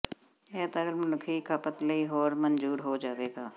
ਇਹ ਤਰਲ ਮਨੁੱਖੀ ਖਪਤ ਲਈ ਹੋਰ ਮਨਜ਼ੂਰ ਹੋ ਜਾਵੇਗਾ